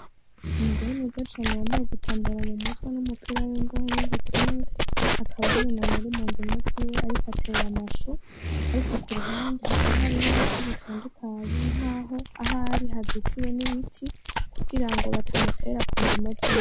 Umugore mwiza cane yambaye igitambara mumutwe n' umupira wimbeho n' igitenge akaba yunamye mundimo ziwe ariko atera amashu ariko kuruhande hakaba hariho ibiti bitandukanye nkaho ahari hazitiwe n' ibiti kugira ngo batamutera kundimo ziwe.